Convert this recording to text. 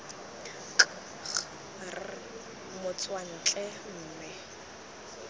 k g r motswantle mme